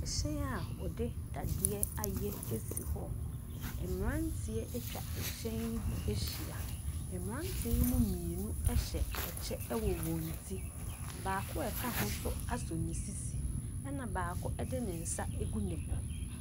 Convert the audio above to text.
Hyɛn a wɔde dadeɛ ayɛ si hɔ. Mmeranteɛ atwa hyɛn yi ho ahyia. Mmeranteɛ yi mu mmienu hyɛ kyɛ wɔ wɔn ti. Baako a ɔka ho nso asɔ ne sisi, ɛnna baako de ne nsa agu ne bo.